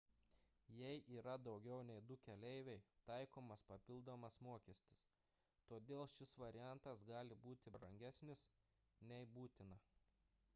jei yra daugiau nei 2 keleiviai taikomas papildomas mokestis todėl šis variantas gali būti brangesnis nei būtina